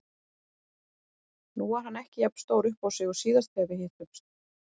Nú var hann ekki jafn stór uppá sig og síðast þegar við hittumst.